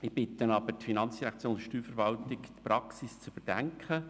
Die FIN und die Steuerverwaltung bitte ich aber, die Praxis zu überdenken.